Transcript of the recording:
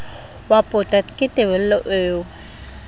wa pota ke tebello eo